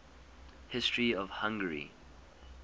history of hungary